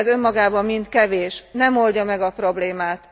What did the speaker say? De ez önmagában mind kevés, nem oldja meg a problémát.